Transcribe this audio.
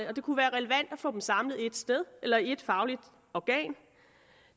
og det kunne være relevant at få dem samlet et sted eller i et fagligt organ